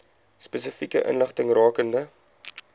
spesifieke inligting rakende